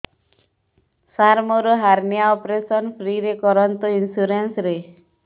ସାର ମୋର hernia operation free ରେ କରନ୍ତୁ ଇନ୍ସୁରେନ୍ସ ରେ